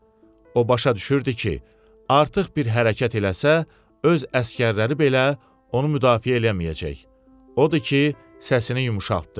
O başa düşürdü ki, artıq bir hərəkət eləsə, öz əsgərləri belə onu müdafiə eləməyəcək, odur ki, səsini yumşaltdı.